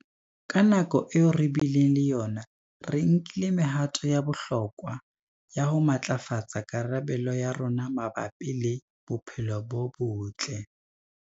Ka nako eo re bileng le yona, re nkile mehato ya bohlokwa ya ho matlafatsa karabelo ya rona mabapi le bophelo bo botle.